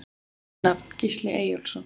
Fullt nafn: Gísli Eyjólfsson